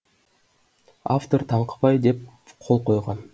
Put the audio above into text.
автор таңқыбай деп қол койған